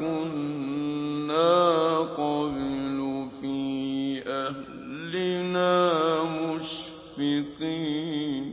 كُنَّا قَبْلُ فِي أَهْلِنَا مُشْفِقِينَ